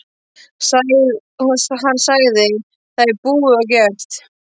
Hann sagði: Það er búið og gert.